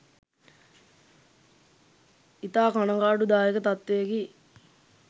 ඉතා කනගාටුදායක තත්ත්වයකි